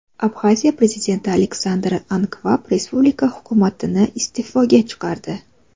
Abxaziya prezidenti Aleksandr Ankvab respublika hukumatini iste’foga chiqardi.